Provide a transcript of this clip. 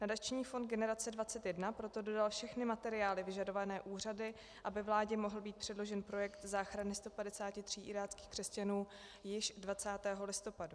Nadační fond Generace 21 proto dodal všechny materiály vyžadované úřady, aby vládě mohl být předložen projekt záchrany 153 iráckých křesťanů již 20. listopadu.